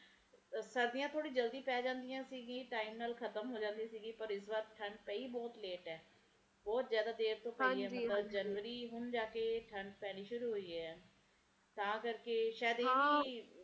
ਸਰਦੀਆਂ ਥੋੜੇ ਜਲਦੀ ਪੈ ਜਾਂਦੀ ਸੀ ਗੀ time ਨਾਲ ਖ਼ਤਮ ਹੋ ਜਾਂਦੀ ਸੀ ਗੀ ਪਰ ਇਸ ਬਾਰ ਠੰਡ ਪਈ ਬਹੁਤ late ਐ ਬਹੁਤ ਜ਼ਿਆਦਾ ਦੇਰ ਤੋਂ ਪਈ first ਜਨਵਰੀ ਹੁਣ ਜਾਕੇ ਠੰਡ ਪੈਣੀ ਸ਼ੁਰੂ ਹੋਏ ਐ ਤਾ ਕਰਕੇ ਸ਼ਾਇਦ ਇਹ ਵੀ